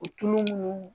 O tulu minnu